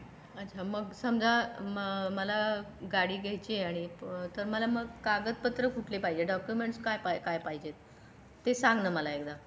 अच्छा मग समझ मला गाडी घायची आहे मा मला मग कागदपात्र कुठले पाहजे डॉक्युमेंट्स काय काय पाहजे ते सांग ना मला एकदा.